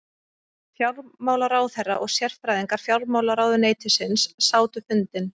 Fjármálaráðherra og sérfræðingar fjármálaráðuneytisins sátu fundinn